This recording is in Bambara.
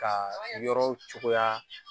Ka yɔrɔw cogoya